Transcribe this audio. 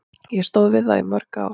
Ég stóð við það í mörg ár.